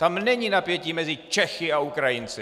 Tam není napětí mezi Čechy a Ukrajinci!